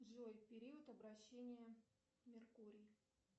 джой период обращения меркурий